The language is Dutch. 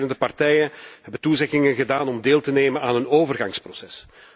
De strijdende partijen hebben toezeggingen gedaan om deel te nemen aan een overgangsproces.